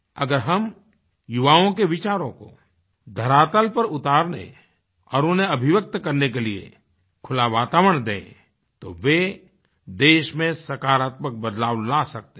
अगर हम युवाओं के विचारों को धरातल पर उतार दें और उन्हें अभिव्यक्त करने के लिए खुला वातावरण दें तो वे देश में सकारात्मक बदलाव ला सकते हैं